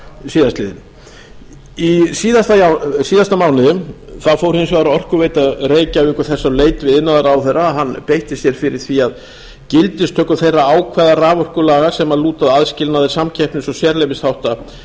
síðastliðinn í síðasta mánuði fór hins vegar orkuveita reykjavíkur þess á leit við iðnaðarráðherra að hann beitti sér fyrir því að gildistöku þeirra ákvæða raforkulaga sem lúta að aðskilnaði samkeppnis og sérleyfisþátta